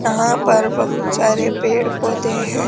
यहां पर बहुत सारे पेड़ पौधे हैं।